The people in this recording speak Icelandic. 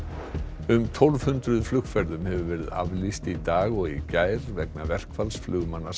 um tólf hundruð flugferðum hefur verið aflýst í dag og í gær vegna verkfalls flugmanna SAS